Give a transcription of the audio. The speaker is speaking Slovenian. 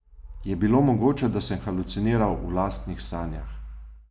Je bilo mogoče, da sem haluciniral v lastnih sanjah?